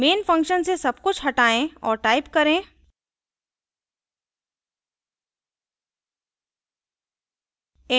main function से सब कुछ हटायें और type करें